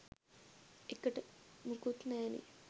එකට මුකුත් නැනේ